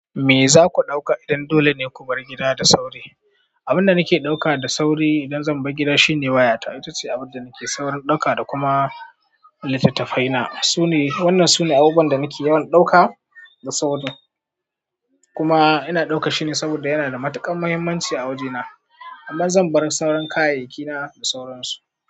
Me zaku dauka idan dole ne ku bar gida da sauri? Abin da nake dauka da sauri idan zan bar gida shine wayata. Ita ce abin da nake saurin ɗauka da kuma littattafaina sune. Wannan sune abubuwan da nake yawan ɗauka da sauri, kuma ina ɗauka shine saboda yana da matukar muhimmanci a waje na. Amma zan bar sauran kayayyaki na da sauransu.